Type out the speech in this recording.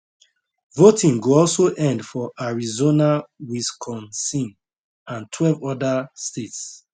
voting go also end for arizona wisconsin and twelve oda states